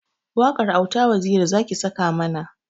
Waƙar auta waziri zaki saka mana